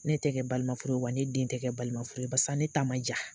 Ne tɛ kɛ balima furu, wa ne den tɛ kɛ balima furu barisa ne ta ma ja.